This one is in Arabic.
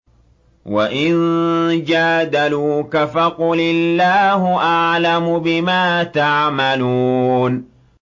وَإِن جَادَلُوكَ فَقُلِ اللَّهُ أَعْلَمُ بِمَا تَعْمَلُونَ